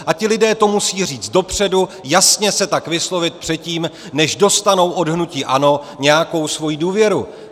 A ti lidé to musí říct dopředu, jasně se tak vyslovit předtím, než dostanou od hnutí ANO nějakou svoji důvěru.